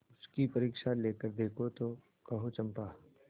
उसकी परीक्षा लेकर देखो तो कहो चंपा